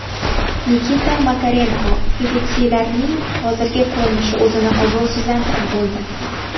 Nikita Makarenko: Petitsiyalarning hozirgi ko‘rinishi o‘zini obro‘sizlantirib bo‘ldi.